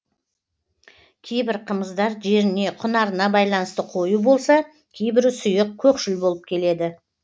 кейбір қымыздар жеріне құнарына байланысты қою болса кейбірі сұйық көкшіл болып келеді